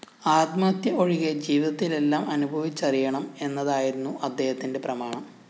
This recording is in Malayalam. ആത്മഹത്യ ഒഴികെ ജീവിതത്തിലെല്ലാം അനുഭവിച്ചറിയണം എന്നതായിരുന്നു അദ്ദേഹത്തിന്റെ പ്രമാണം